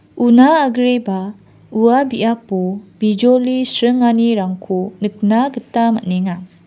una agreba ua biapo bijoli sringanirangko nikna gita man·enga.